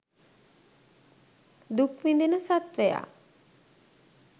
දුක් විඳින සත්ත්වයා